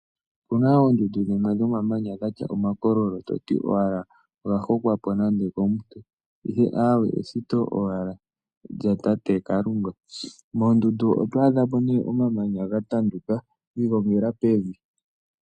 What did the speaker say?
Opuna oondundu dhimwe dhomamanya dhatya omakololo toti owala oga hokwako nande okomuntu. Ihe awe eshito owala lyatate Kalunga. Moondundu otwa adha po nee omamanya ga tanduka gi ilongela pevi.